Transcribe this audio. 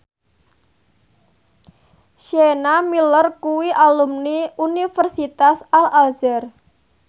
Sienna Miller kuwi alumni Universitas Al Azhar